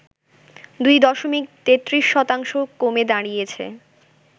২ দশমিক ৩৩ শতাংশ কমে দাঁড়িয়েছে